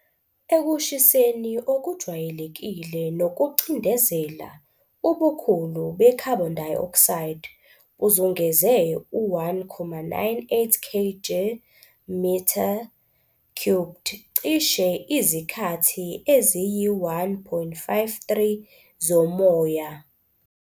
Ekushiseni okujwayelekile nokucindezela, ubukhulu be-carbon dioxide buzungeze u-1.98 kg m 3, cishe izikhathi eziyi-1.53 zomoya.